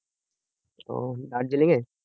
ওহ দার্জিলিংয়ে